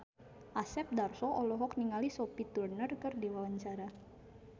Asep Darso olohok ningali Sophie Turner keur diwawancara